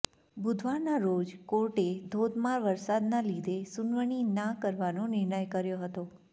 બુધવારના રોજ કોર્ટે ધોધમાર વરસાદના લીધે સુનવણી ના કરવાનો નિર્ણય કર્યો હતો